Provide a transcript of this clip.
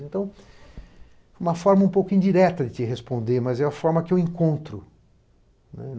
Então, uma forma um pouco indireta de te responder, mas é a forma que eu encontro.